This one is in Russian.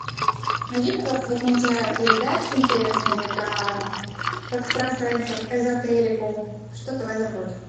найди пожалуйста какие нибудь передачи интересные про экстрасенсов эзотерику что то в этом роде